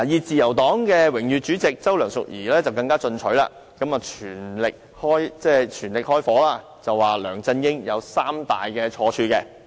自由黨榮譽主席周梁淑怡更加進取，火力全開力數梁振英有三大錯處。